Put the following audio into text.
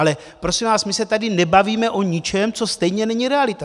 Ale prosím vás, my se tady nebavíme o ničem, co stejně není realita.